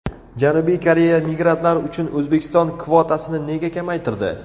Janubiy Koreya migrantlar uchun O‘zbekiston kvotasini nega kamaytirdi?.